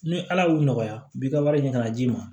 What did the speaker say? Ni ala y'u nɔgɔya u bɛ ka wari ɲini ka na d'i ma